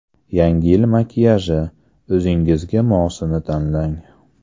Yangi yil makiyaji: o‘zingizga mosini tanlang.